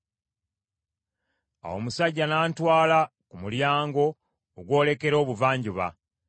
Awo omusajja n’antwala ku mulyango ogwolekera Obuvanjuba,